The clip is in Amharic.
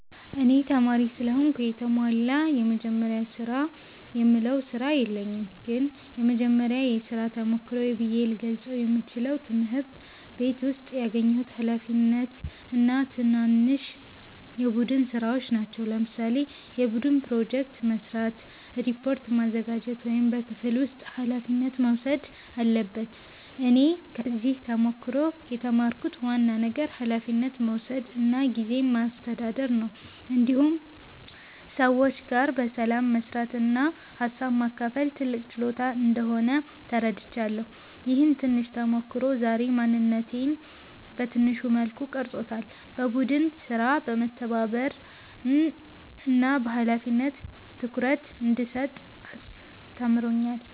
እኔ ተማሪ ስለሆንኩ የተሟላ “የመጀመሪያ ስራ”የምለው ስራ የለኝም ግን የመጀመሪያ የሥራ ተሞክሮዬ ብዬ ልገልጸው የምችለው ትምህርት ቤት ውስጥ ያገኘሁት ኃላፊነት እና ትናንሽ የቡድን ሥራዎች ናቸው። ለምሳሌ የቡድን ፕሮጀክት መስራት፣ ሪፖርት ማዘጋጀት ወይም በክፍል ውስጥ ኃላፊነት መውሰድ አለበት እኔ ከዚህ ተሞክሮ የተማርኩት ዋና ነገር ኃላፊነት መውሰድ እና ጊዜ ማስተዳደር ነው። እንዲሁም ሰዎች ጋር በሰላም መስራት እና ሀሳብ ማካፈል ትልቅ ችሎታ እንደሆነ ተረድቻለሁ። ይህ ትንሽ ተሞክሮ ዛሬ ማንነቴን በትንሹ መልኩ ቀርጾታል፤ ለቡድን ሥራ መተባበርን እና ለኃላፊነት ትኩረት እንድሰጥ አስተምሮኛል።